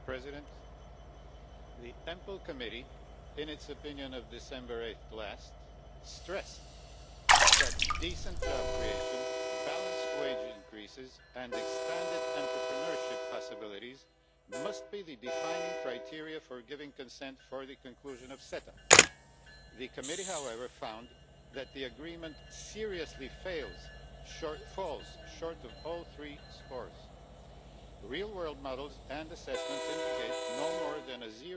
Mr President, the Committee on Employment and Social Affairs in its opinion of 8 December last, stressed that decent job creation, balanced wage increases and expanded entrepreneurship possibilities must be the defining criteria for giving consent for the conclusion of CETA. The Committee found, however, that the agreement seriously fails and falls short on all three scores. Real world models and assessments indicate no more than a